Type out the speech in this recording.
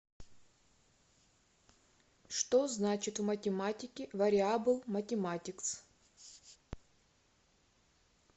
что значит в математике вариабл математикс